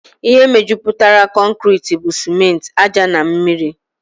Ihe mejupụtara concreti bụ simenti, ájá na mmiri